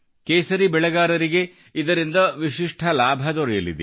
ಕೇಸರಿ ಬೆಳೆಗಾರರಿಗೆ ಇದರಿಂದ ವಿಶಿಷ್ಠ ಲಾಭದೊರೆಯಲಿದೆ